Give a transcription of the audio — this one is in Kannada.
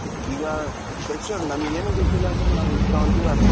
ಈಗ fresher ನಂಗೇನು ಗೊತ್ತಿಲ್ಲ ಅಂದ್ರೆ ನಾವು ಎಷ್ಟು ತಗೊಂತೀವೋ